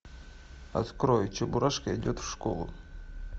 открой чебурашка идет в школу